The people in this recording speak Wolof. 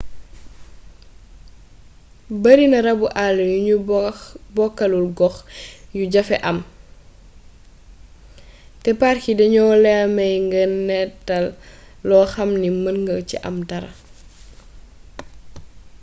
bari na rabu àll yu ñu bokkalul gox yu jafee am te park yi duñu la may nga nataal lo xam ni mën nga ci am dara